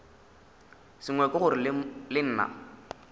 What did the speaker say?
sengwe ke gore le nna